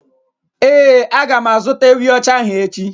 Ee, a ga m azụta ewi ocha ahụ echi